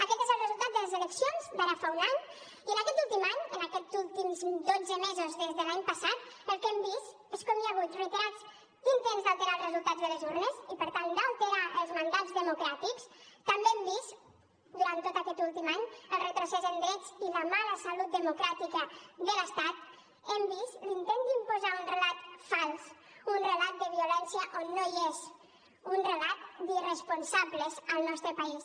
aquest és el resultat de les eleccions d’ara fa un any i en aquest últim any en aquests últims dotze mesos des de l’any passat el que hem vist és com hi ha hagut reiterats intents d’alterar el resultat de les urnes i per tant d’alterar els mandats democràtics també hem vist durant tot aquest últim any el retrocés en drets i la mala salut democràtica de l’estat hem vist l’intent d’imposar un relat fals un relat de violència on no hi és un relat d’irresponsables al nostre país